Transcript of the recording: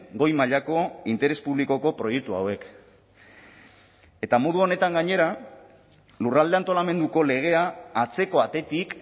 goi mailako interes publikoko proiektu hauek eta modu honetan gainera lurralde antolamenduko legea atzeko atetik